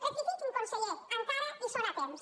rectifiquin conseller encara hi són a temps